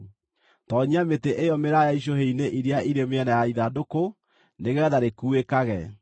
Toonyia mĩtĩ ĩyo mĩraaya icũhĩ-inĩ iria irĩ mĩena ya ithandũkũ nĩgeetha rĩkuuĩkage.